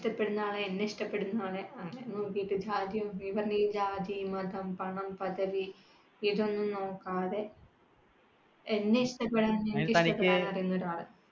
ഇഷ്ട്ടപെടുന്ന ആളെ അങ്ങനെയൊക്കെ നോക്കിയിട്ട് ഭാഗ്യമുണ്ടെങ്കിൽ, ജാതി, മതം, പണം, പദവി ഇതൊന്നും നോക്കാതെ എന്നെ ഇഷ്ട്ടപെടാൻ